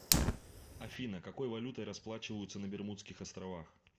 афина какой валютой расплачиваются на бермудских островах